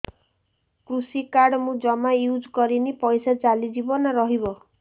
କୃଷି କାର୍ଡ ମୁଁ ଜମା ୟୁଜ଼ କରିନି ପଇସା ଚାଲିଯିବ ନା ରହିବ